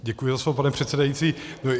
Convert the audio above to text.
Děkuji za slovo, pane předsedající.